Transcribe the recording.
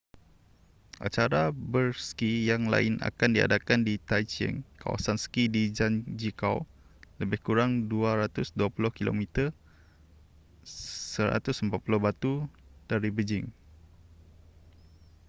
acara berski yang lain akan diadakan di taizicheng kawasan ski di zhangjiakou lebih kurang 220 km 140 batu dari beijing